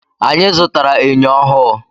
Anyị zụtara enyo ọhụụ.